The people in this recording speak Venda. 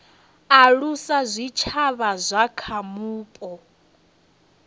alusa zwitshavha zwa kha vhupo